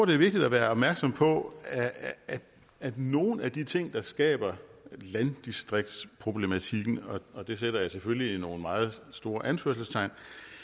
det er vigtigt at være opmærksom på at nogle af de ting der skaber landdistriktsproblematikken og og der sætter jeg selvfølgelig nogle meget store anførselstegn